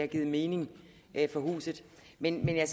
givet mening for huset men jeg